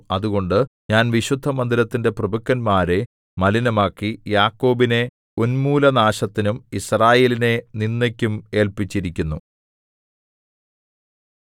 അതുകൊണ്ട് ഞാൻ വിശുദ്ധമന്ദിരത്തിന്റെ പ്രഭുക്കന്മാരെ മലിനമാക്കി യാക്കോബിനെ ഉന്മൂലനാശത്തിനും യിസ്രായേലിനെ നിന്ദയ്ക്കും ഏല്പിച്ചിരിക്കുന്നു